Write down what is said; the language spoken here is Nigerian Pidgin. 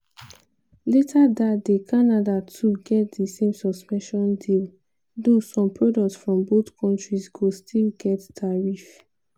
later dat day canada too get di same suspension deal - though some products from both kontris go still get tariff.